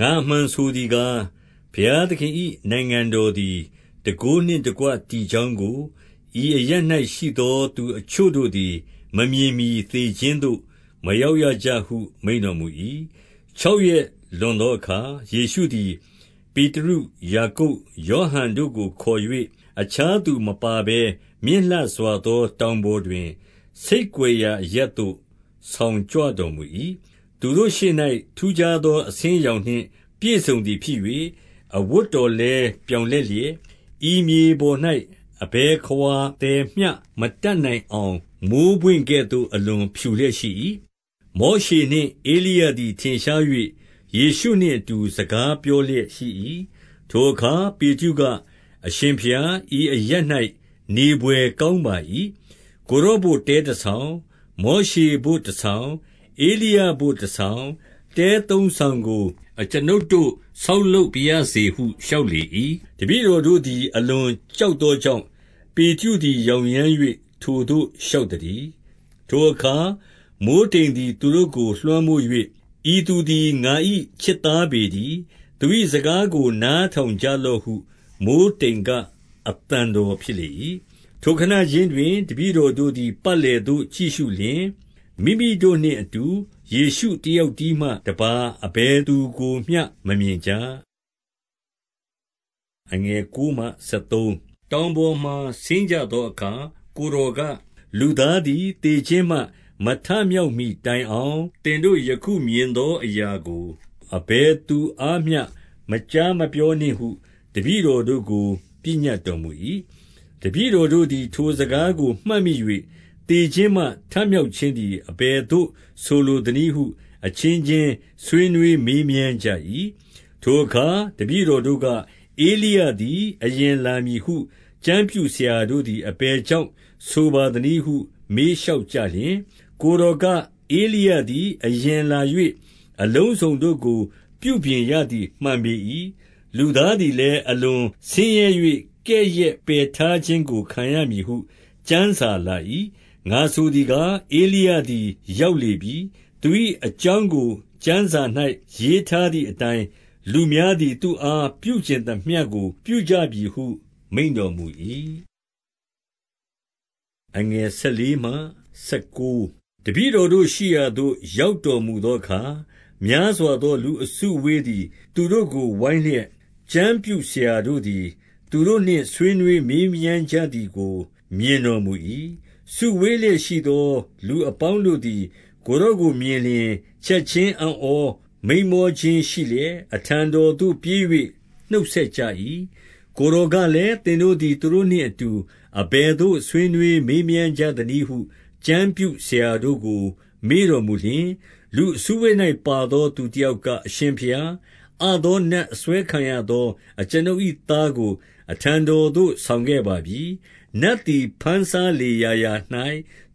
ငါအမှန်ဆိုသည်ကား၊ ဘုရားသခင်၏ နိုင်ငံတော်သည် တန်ခိုးနှင့်တကွ တည်ကြောင်းကို ဤအရပ်၌ ရှိသောသူ အချို့တို့သည် မမြင်မှီသေခြင်းသို့ မရောက်ရကြဟု မိန့်တော်မူ၏။ 2 ခြောက်ရက်လွန်သောအခါ ယေရှုသည် ပေတရု၊ ယာကုပ်၊ ယောဟန်တို့ကိုခေါ်၍၊ အခြားသူ မပါဘဲ မြင့်လှစွာသော တောင်ပေါ်တွင် ဆိတ်ကွယ်ရာအရပ်သို့ ဆောင်ကြွတော်မူ၏။ သူတို့ရှေ့၌ ထူးခြားသော အဆင်းအရောင်နှင့် ပြည့်စုံသည်ဖြစ်၍၊ 3 အဝတ်တော်လည်း ပြောင်လက်လျှက်၊ ဤမြေပေါ်၌ အဘယ်ခဝါသည်မျှ မတတ်နိုင်အောင် မိုဃ်းပွင့် ကဲ့သို့ အလွန်ဖြူလျက်ရှိ၏။ 4 မောရှေနှင့် ဧလိယသည် ထင်ရှား၍ ယေရှုနှင့်အတူ စကားပြောလျက်ရှိ၏။ 5 ထိုအခါ ပေတရုက အရှင်ဘုရား၊ ဤအရပ်၌ နေဘွယ်ကောင်းပါ၏။ ကိုယ်တော်ဘို့ တဲတဆောင်၊ မောရှေဘို့တဆောင်၊ ဧလိယဘို့တဆောင်၊ တဲသုံးဆောင်ကို အကျွန်ုပ်တို့ ဆောက်လုပ်ပါရစေဟု လျှောက်လေ ၏။ 6 တပည့်တော်တို့သည် အလွန်ကြောက်သောကြောင့် ပေတရုသည် ယောင်ယမ်း၍ ထိုသို့လျှောက် သတည်း။ 7 ထိုအခါ မိုဃ်းတိမ်သည် သူတို့ကိုလွှမ်းမိုး၍၊ ဤသူသည် ငါ၏ချစ်သားပေတည်း။ သူ၏စကားကို နား ထောင်ကြလော့ဟု မိုဃ်းတိမ်က အသံတော်ဖြစ်လေ၏။ 8 ထိုခဏခြင်းတွင် တပည့်တော်တို့သည် ပတ်လည်သို့ကြည့်ရှုလျှင်၊ မိမိတို့နှင့်အတူ ယေရှုတယောက် တည်းမှတပါး အဘယ်သူကိုမျှ မမြင်ကြ။ 9 တောင်ပေါ်မှာ ဆင်းကြသောအခါ ကိုယ်တော်က၊ လူသားသည် သေခြင်းမှ မထမြောက်မှီတိုင်အောင် သင်တို့ ယခုမြင်သောအရာကို အဘယ်သူအားမျှ မကြားမပြောကြနှင့်ဟု တပည့်တော်တို့ကို ပညတ်တော်မူ၏။ 10 တပည့်တော်တို့သည် ထိုစကားကို မှတ်မိ၍ သေခြင်းမှ ထမြောက်ခြင်းသည် အဘယ်သို့ဆိုလိုသနည်း ဟု အချင်းချင်း ဆွေးနွေးမေးမြန်းကြ၏။ 11 ထိုအခါ တပည့်တော်တို့က၊ ဧလိယသည် အရင်လာမည်ဟု ကျမ်းပြုဆရာတို့သည် အဘယ်ကြောင့် ဆိုပါသနည်းဟု မေးလျှောက်ကြလျှင်၊ 12 ကိုယ်တော်က၊ ဧလိယသည် အရင်လာ၍ အလုံးစုံတို့ကို ပြုပြင်ရသည် မှန်ပေ၏။ လူသားသည်လည်း အလွန်ဆင်းရဲ၍ ကဲ့ရဲ့ပယ်ထားခြင်းကို ခံရမည်ဟု ကျမ်းစာလာ၏။ 13 ငါဆိုသည်ကား၊ ဧလိယသည် ရောက်လေပြီ။ သူ၏အကြောင်းကို ကျမ်းစာရေးထားသည်အတိုင်း လူ များသည် သူ့အားပြုချင်သမျှကို ပြုကြပြီဟု မိန့်တော်မူ၏။ 14 တပည့်တော်တို့ရှိရာသို့ ရောက်တော်မူသောအခါ များစွာသောလူအစုအဝေးသည် သူတို့ကို ဝိုင်းလျက်၊ ကျမ်းပြုဆရာတို့သည် သူတို့နှင့် ဆွေးနွေးမေးမြန်းကြသည်ကို မြင်တော်မူ၏။ 15 စုဝေးလျက်ရှိသော လူအပေါင်းတို့သည် ကိုယ်တော်ကိုမြင်လျှင် ချက်ခြင်း အံ့ဩမိန်းမောခြင်းရှိလျက် အထံတော်သို့ ပြေး၍ နှုတ်ဆက်ကြ၏။ 16 ကိုယ်တော်ကလည်း၊ သင်တို့သည် သူတို့နှင့် အဘယ်သို့ဆွေးနွေးမေးမြန်းကြသနည်းဟု ကျမ်းပြုဆရာ တို့ကို မေးတော်မူလျှင်၊ 17 လူအစုအဝေး၌ပါသော သူတယောက်က၊ အရှင်ဘုရား၊ အသောနတ်အစွဲခံရသော အကျွန်ုပ်၏သားကို အထံတော်သို့ ဆောင်ခဲ့ပါပြီ။ 18 နတ်သည် ဘမ်းစားလေရာရာ၌